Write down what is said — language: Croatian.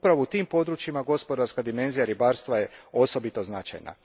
Upravo u tim područjima gospodarska dimenzija ribarstva je osobito značajna.